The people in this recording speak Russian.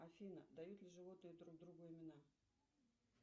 афина дают ли животные друг другу имена